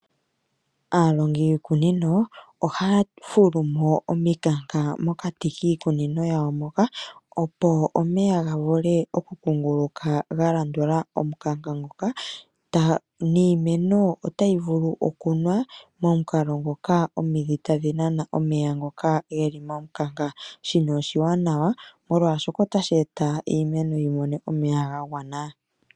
Aalongi yiikunino oha ya fulumo omikanka mokati kiikunino yawo moka, opo omeya ga vule oku kunguluka ga landula omukanka ngoka niimeno ota yi vulu okunwa momukalo ngoka omidhi ta dhi nana omeya ngoka ge li momukanka. Shino oshiwanawa molwaashoka ota shi eta iimeno yi mone omeya ga gwanwa.